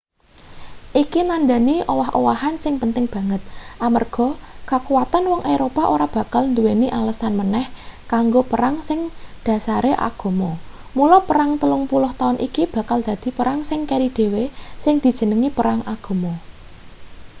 iki nandhani owah-owahan sing penting banget amarga kakuwatan wong eropa ora bakal nduweni alesan maneh kanggo perang sing dhasare agama mula perang telung puluh taun iki bakal dadi perang sing keri dhewe sing dijenengi perang agama